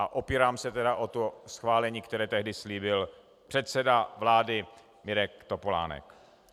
A opírám se tedy o to schválení, které tehdy slíbil předseda vlády Mirek Topolánek.